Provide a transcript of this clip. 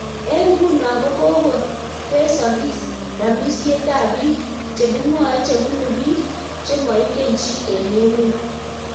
Eng nguno kokokotesokis ramisietab biik chekimwoe chebunu biik chemoingen chii eng emet